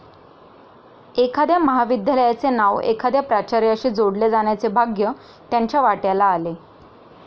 एखाद्या महाविद्यालयाचे नाव एखाद्या प्राचार्याशी जोडले जाण्याचे भाग्य त्यांच्या वाट्याला आले.